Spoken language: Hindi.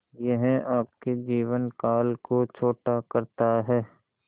यह आपके जीवन काल को छोटा करता है